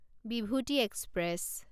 Bibhuti express